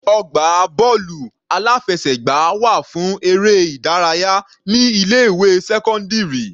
Ọgbà bọ́ọ̀lù aláfẹsẹ̀gbá wà fún eré ìdárayá ní ilé ìwé sẹ́cọ́ndírì.